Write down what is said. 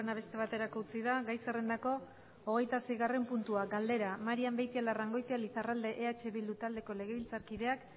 beste baterako utzi da gai zerrendako hogeitaseigarren puntua galdera marian beitialarrangoitia lizarralde eh bildu taldeko legebiltzarkideak